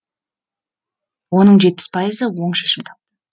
оның жетпіс пайызы оң шешім тапты